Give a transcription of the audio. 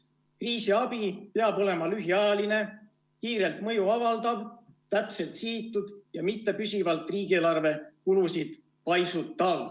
Kriisiabi peab olema lühiajaline, kiirelt mõju avaldav ja täpselt sihitud ega tohi püsivalt riigieelarve kulusid paisutada.